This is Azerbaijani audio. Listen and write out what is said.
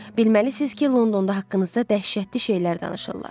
Bilməlisiniz ki, Londonda haqqınızda dəhşətli şeylər danışırlar.